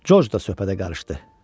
Corc da söhbətə qarışdı.